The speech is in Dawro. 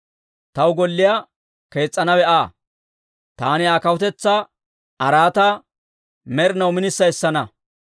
Taw golliyaa kees's'anawe Aa; taani Aa kawutetsaa araataa med'inaw minissa essana.